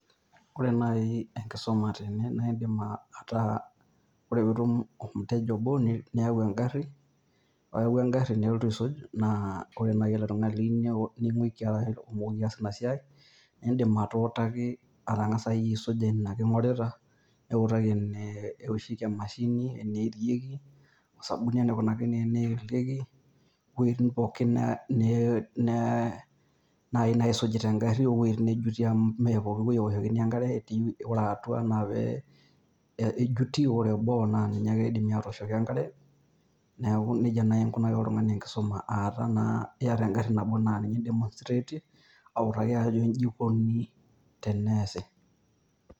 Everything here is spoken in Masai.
Ore naaji enkisuma tene naa idim ataa ore pee itum olmuteja obo niyau eng`arri. Ore iyawua eng`arri nelotu aisuj naa ore naaji ele tung`ani liyieu niaku ning`uiki arashu otumoki ataasa ina siai. Nidim atuutaki atang`asa iyie aisuja ina king`orita. Niutaki ene woshieki emashini, enierieki, osabuni enikunaki teneelieki wuejitin pookin naaji neisuji te garri o wuejitin neejuti amu mme pookin wueji ewoshokini enkare ore atua naa pee ejuti ore boo naa ninye ake eidimi atooshoki enkare. Naiku neijia naaji inkunaki oltung`ani enkisuma, aa taa naa iyata egarri nabo naa ninye demonstrate ie awutaki ajo inji ikoni teneasi.